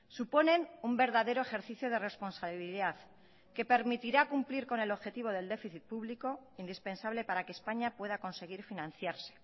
suponen un verdadero ejercicio de responsabilidad que permitirá cumplir con el objetivo del déficit público indispensable para que españa pueda conseguir financiarse